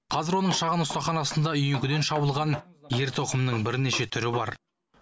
қазір оның шағын ұстаханасында үйеңкіден шабылған ер тоқымның бірнеше түрі бар